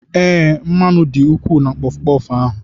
Ee, mmanụ dị ukwuu na puffu-puffu ahụ.